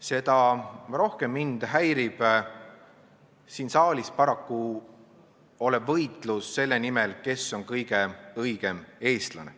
Seda rohkem häirib mind paraku siin saalis võitlus selle nimel, kes on kõige õigem eestlane.